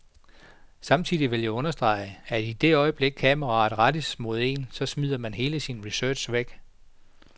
Samtidig vil jeg understrege, at i det øjeblikket kameraet rettes mod en, så smider man hele sin research væk.